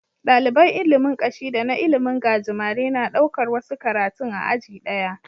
Daliban ilimin Kashi da na ilimin gajimare na ɗaukar wasu karatun a aji daya